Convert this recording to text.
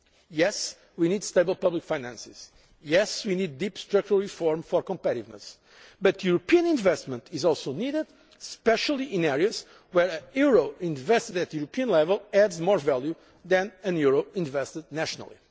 Yes, we need stable public finances and, yes, we need deep structural reform for competitiveness, but European investment is also needed, especially in areas where a euro invested at European level adds more value than a euro invested nationally.